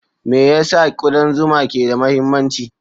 Me yasa kudan zuma ke da mahimmanci?